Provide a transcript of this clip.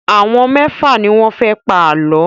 Àwọn mẹ́fà ni wọ́n fẹ́ pa àlọ́.